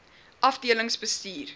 afdelingsbestuur